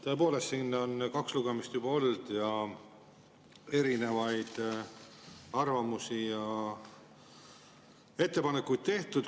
Tõepoolest, siin on kaks lugemist juba olnud ning erinevaid arvamusi ja ettepanekuid on tehtud.